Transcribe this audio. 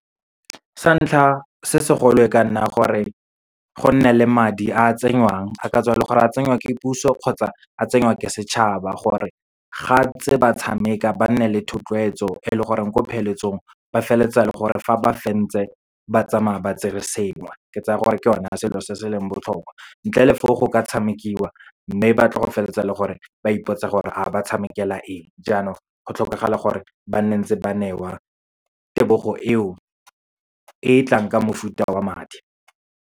Sa ntlha, se segolo e ka nna gore gonne le madi a a tsenngwang, a katswa e le gore a tsengwa ke puso, kgotsa a tsengwa ke setšhaba, gore ga ntse ba tshameka ba nne le thotloetso e leng gore ko pheletsong ba feleletsa e le gore, fa ba fentse, ba tsamaya ba tsere sengwe. Ke tsaya gore ke yone selo se se leng botlhokwa, ntle le fo go ka tshamekiwa, mme ba tlo go feleletsa e le gore ba ipotsa gore, ha ba tshamekela eng. Jaanong, go tlhokagala gore ba nne ntse ba newa tebogo eo, e tlang ka mofuta wa madi.